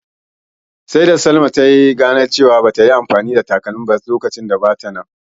Sai da Salamah ta ganar da ita cewa bata yi anfani da takalmanta ba sanda bata nan.